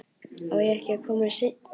Á ég ekki að koma seinna?